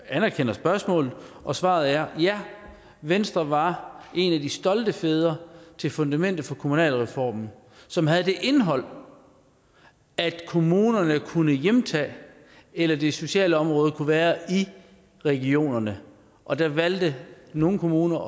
anerkender spørgsmålet og svaret er ja venstre var en af de stolte fædre til fundamentet for kommunalreformen som havde det indhold at kommunerne kunne hjemtage det eller det sociale område kunne være i regionerne og der valgte nogle kommuner